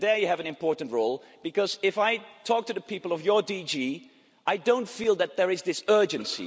I think there you have an important role, because if I talk to the people of your DG, I don't feel that there is this urgency.